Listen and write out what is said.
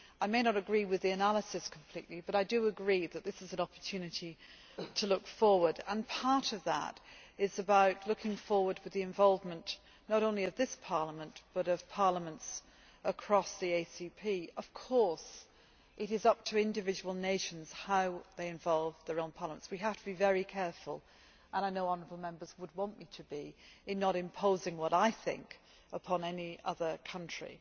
I may not completely agree with the analysis, but I do agree that this is an opportunity to look forward, and part of that is about looking forward to the involvement not only of this Parliament but also of parliaments across the ACP. Of course, it is up to individual nations how they involve their own parliaments. We have to be very careful and I know honourable Members would want me to be in not imposing what I think upon any other country.